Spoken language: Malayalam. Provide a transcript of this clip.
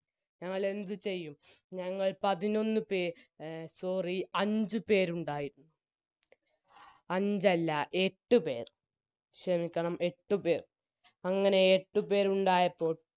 ഞങ്ങളെന്തു ചെയ്യും ഞങ്ങൾ ഞങ്ങൾ പതിനൊന്നു പേർ എ sorry അഞ്ചുപേരുണ്ടായിരുന്നു അഞ്ച് അല്ല എട്ടുപേർ ക്ഷെമിക്കണം എട്ടുപേർ അങ്ങനെ എട്ടുപേരുണ്ടായപ്പോൾ